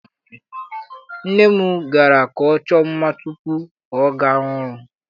Nne m gara ka ọ chọọ mma tupu ọ gawa ọrụ.